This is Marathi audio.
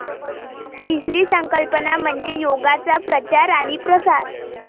तिसरी संकल्पना म्हणजे योगाचा प्रचार आणि प्रसार.